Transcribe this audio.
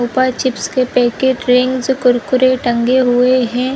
ऊपर चिप के packet range Kurkure टंगे हुए हैं।